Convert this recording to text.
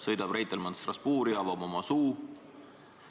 Sõidab Reitelmann Strasbourgi, avab oma suu ...